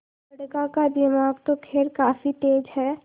बड़का का दिमाग तो खैर काफी तेज है